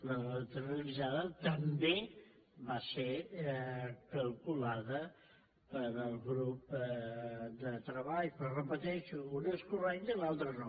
la neutralitzada també va ser calculada pel grup de treball però ho repeteixo una és correcta i l’altra no